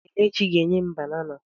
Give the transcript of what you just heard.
Kelechi ga enyem banana.